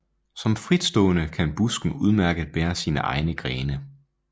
Som fritstående kan busken udmærket bære sine egne grene